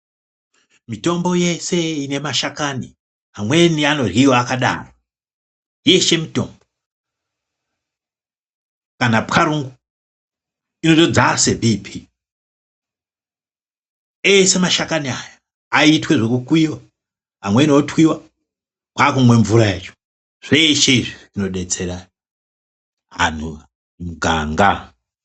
Mitombo yeshe ine mashakani imweni inoryiwa akadaro yeshe mitombo kana pwaro inotodzase bhipii. Eshe mashakani aya aiitwe zvekukuyiwa, amweni otwiwa kwakumwe mvura yacho. Zveshe izvi zvinodetsera antu mumuganga.